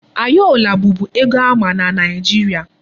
Ayọla bụbu ego a ma na Nigeria.